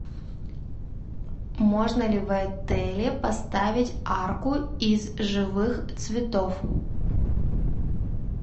можно ли в отеле поставить арку из живых цветов